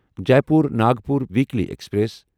Jaipur Nagpur weekly express